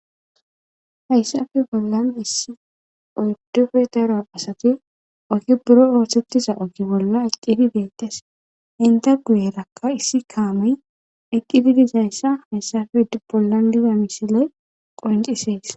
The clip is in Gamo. Hayssafi bollan issi oydufe daro asati oki buro oosettiza ogi bolla accifi beettas inda guyerakka issi kaamey eqqifi dizayssa hayssafi d bollan diga misile qorncisees